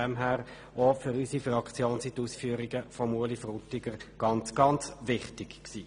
Deshalb waren diese Ausführungen für unsere Fraktion sehr wichtig.